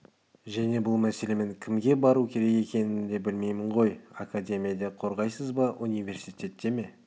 және бұл мәселемен кімге бару керек екенін де білмеймін ғой академияда қорғайсыз ба университетте ме